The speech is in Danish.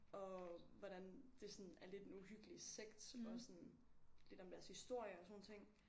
Og hvordan det sådan er lidt en uhyggelig sekt og sådan lidt om deres historie og sådan nogle ting